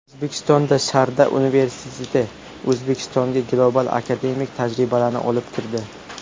O‘zbekistonSharda universiteti O‘zbekistonga global akademik tajribalarni olib kirdi.